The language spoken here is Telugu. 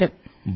నమస్కారం